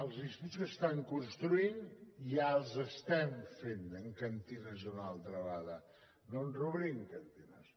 els instituts que s’estan construint ja els estem fent amb cantines una altra vegada doncs reobrim cantines